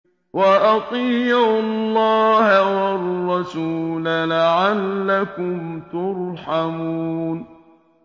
وَأَطِيعُوا اللَّهَ وَالرَّسُولَ لَعَلَّكُمْ تُرْحَمُونَ